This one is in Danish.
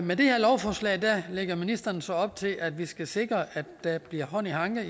med det her lovforslag lægger ministeren så op til at vi skal sikre at der bliver hånd i hanke